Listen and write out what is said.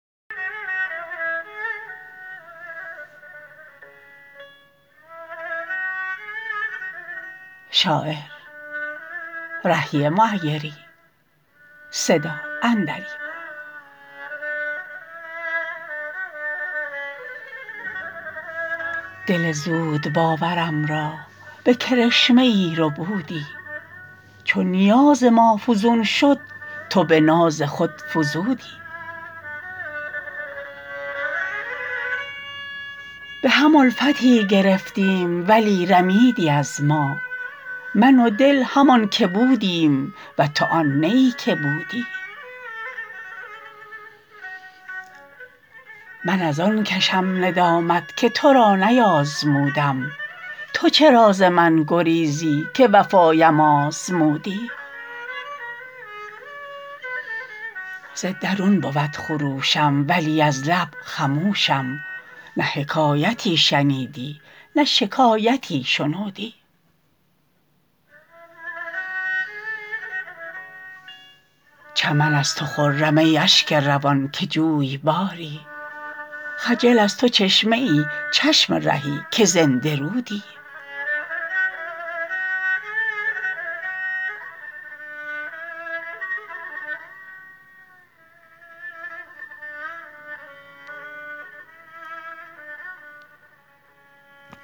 دل زودباورم را به کرشمه ای ربودی چو نیاز ما فزون شد تو به ناز خود فزودی به هم الفتی گرفتیم ولی رمیدی از ما من و دل همان که بودیم و تو آن نه ای که بودی من از آن کشم ندامت که تو را نیازمودم تو چرا ز من گریزی که وفایم آزمودی ز درون بود خروشم ولی از لب خموشم نه حکایتی شنیدی نه شکایتی شنودی چمن از تو خرم ای اشک روان که جویباری خجل از تو چشمه ای چشم رهی که زنده رودی